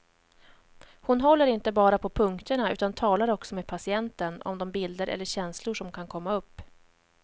Hon håller inte bara på punkterna utan talar också med patienten om de bilder eller känslor som kan komma upp.